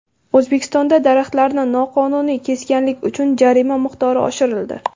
O‘zbekistonda daraxtlarni noqonuniy kesganlik uchun jarima miqdori oshirildi.